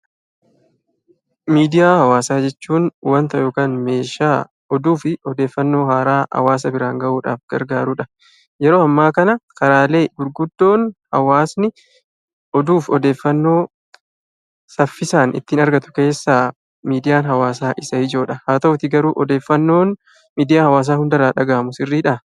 Miidiyaa hawaasaa jechuun waanta yookaan meeshaa oduu fi odeeffannoo haaraa hawaasa biraan gahuuf gargaarudha. Yeroo ammaa kana karaaleen gurguddoo hawaasni oduu fi odeeffannoo saffisaan ittiin argatu keessaa miidiyaan hawaasaa isa ijoodha. Haa ta'utii garuu oddeeffannoon miidiyaa hawaasaa hunda irraa dhagahamu sirriidha?